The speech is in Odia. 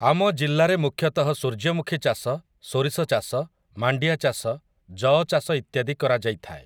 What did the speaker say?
ଆମ ଜିଲ୍ଲାରେ ମୁଖ୍ୟତଃ ସୂର୍ଯ୍ୟମୁଖୀ ଚାଷ, ସୋରିଷ ଚାଷ, ମାଣ୍ଡିଆ ଚାଷ, ଯଅ ଚାଷ ଇତ୍ୟାଦି କରାଯାଇଥାଏ ।